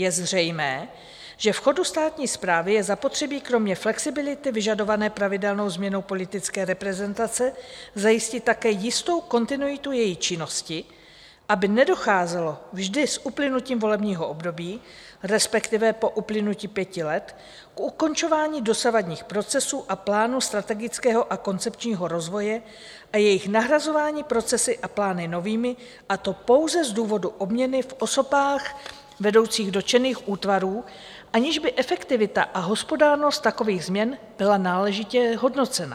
Je zřejmé, že v chodu státní správy je zapotřebí kromě flexibility vyžadované pravidelnou změnou politické reprezentace zajistit také jistou kontinuitu její činnosti, aby nedocházelo vždy s uplynutím volebního období, respektive po uplynutí pěti let, k ukončování dosavadních procesů a plánů strategického a koncepčního rozvoje a jejich nahrazování procesy a plány novými, a to pouze z důvodu obměny v osobách vedoucích dotčených útvarů, aniž by efektivita a hospodárnost takových změn byla náležitě hodnocena.